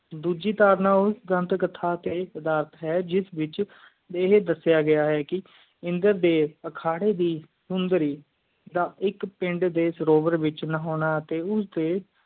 ਡੋਜੀ ਧਾਰਨਾ ਉਸ ਦੰਦ ਕਥਾ ਟੀ ਸੁਧਾਰਤ ਹੈ ਜਿਸ ਵਿਚ ਆ ਹਾਯ ਦਸਿਆ ਗਯਾ ਹੈ ਕ ਇੰਦਰ ਦੇਵ ਆਖਰੀ ਉਣਜਾਰੀ ਦਾ ਐਕ ਪਿੰਡ ਡੇ ਸਰੋਜੇ ਵਿਚ ਨਾਹੋਣਾ ਟੀ ਉਸ ਡੇ